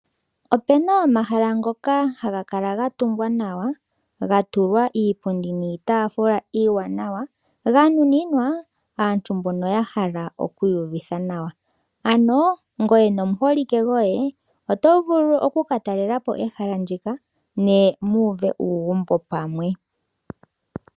Opena omahala ngoka ha ga kala ga tungwa nawa, ga tulwa iipundi niitafula iiwanawa nga nuninwa aantu mboka ya hala okwiiyuvitha nawa. Ano ngweye nomuholike goye oto vulu oku katalela po ehala ndika ne mu uve uugumbo pamwe.